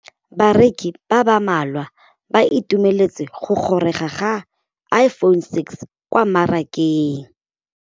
Bareki ba ba malwa ba ituemeletse go gôrôga ga Iphone6 kwa mmarakeng.